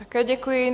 Také děkuji.